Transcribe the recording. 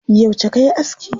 Yauce kayi aski?